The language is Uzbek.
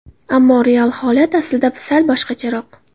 Ammo real holat aslida sal boshqacharoq.